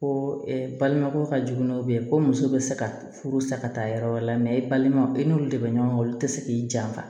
Ko balimako ka jugu n'o bɛ ye ko muso bɛ se ka furu sa ka taa yɔrɔ wɛrɛ la i balima i n'olu de bɛ ɲɔgɔn olu tɛ se k'i janfa